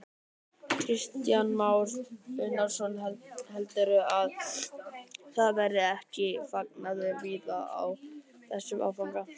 Kristján Már Unnarsson: Heldurðu að það verði ekki fagnaður víða á þessum áfanga?